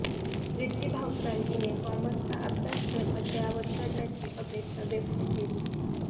रिद्धी भावसार हिने कॉमर्सचा अभ्यासक्रम अद्ययावत करण्याची अपेक्षा व्यक्त केली